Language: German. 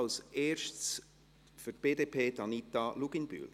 Als erste, für die BDP, Anita Luginbühl.